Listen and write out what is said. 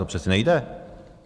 To přece nejde.